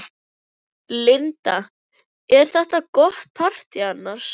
Linda: Er þetta gott partý annars?